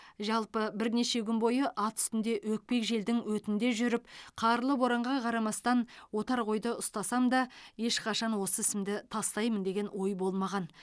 жалпы бірнеше күн бойы ат үстінде өкпек желдің өтінде жүріп қарлы боранға қарамастан отар қойды ұстасам да ешқашан осы ісімді тастаймын деген ой болмаған